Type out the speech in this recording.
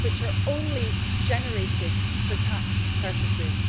losses which are only generated for tax purposes'.